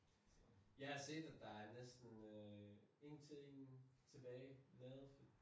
Jeg har set at der er næsten øh en ting tilbage lavet